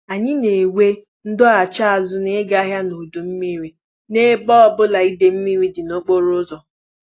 Anyị na-enwe ndọghachi azụ na-ịga ahịa n'udu mmiri n'ebe ọbụla idei mmiri dị n'okporo ụzọ